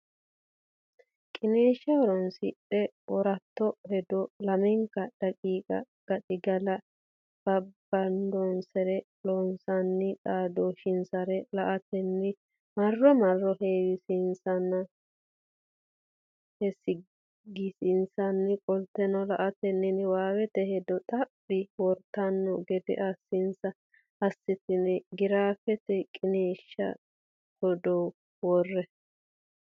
qiniishsha horoonsidhe wortanno hedo lamenka daqiiqa gaxigalla babbadannonsarenna Loossinanni xaadisannonsare la atenni marro marro heewisiissanninna heesagisiissanni qoltine la atenni niwaawete hedo xaphi wortanno gede assinsa assitine giraafete qiniishshi giddo worre.